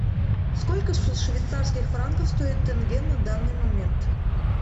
сколько швейцарских франков стоит тенге на данный момент